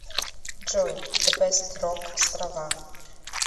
джой зе бест рок острова